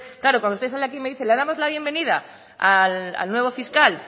claro cuando usted sale aquí y me dice le damos la bienvenida al nuevo fiscal